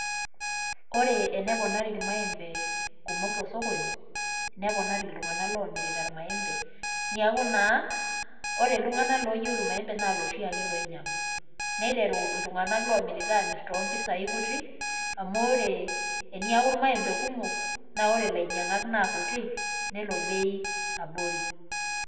Ore ene ponari ilmaembe, tosokoni, neponari iltunganak loomirita ilmaembe, niaku naa ore iltunganak looyieiu ilmaembe naa iloshi ake loinyiangu. niteru iltunganak loomirita ainyiangu too mpisai, teniaku ilmaembe kumok. niaku ilmaembe abori.